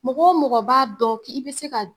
Mɔgɔ o mɔgɔ b'a dɔn k'i i bɛ se ka